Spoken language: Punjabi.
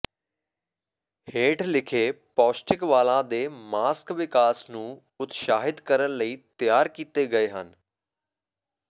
ਹੇਠ ਲਿਖੇ ਪੌਸ਼ਟਿਕ ਵਾਲਾਂ ਦੇ ਮਾਸਕ ਵਿਕਾਸ ਨੂੰ ਉਤਸ਼ਾਹਿਤ ਕਰਨ ਲਈ ਤਿਆਰ ਕੀਤੇ ਗਏ ਹਨ